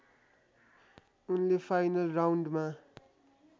उनले फाइनल राउन्डमा